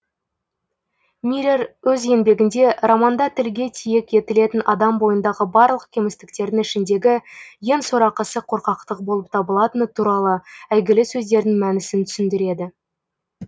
мирер өз еңбегінде романда тілге тиек етілетін адам бойындағы барлық кемістіктердің ішіндегі ең сорақысы қорқақтық болып табылатыны туралы әйгілі сөздердің мәнісін түсіндіреді